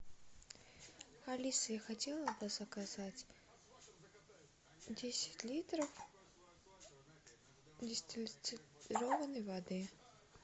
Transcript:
алиса я хотела бы заказать десять литров дистиллированной воды